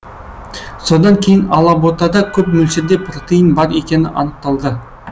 содан кейін алаботада көп мөлшерде протеин бар екені анықталды